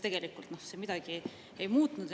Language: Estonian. Tegelikult see midagi ei muutnud.